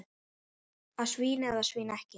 Að svína eða svína ekki.